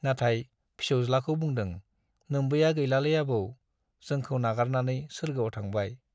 नाथाय फिसौज्लाखौ बुंदों, नोम्बैया गैलालै आबौ, जोंखौ नागारनानै सोर्गोआव थांबाय।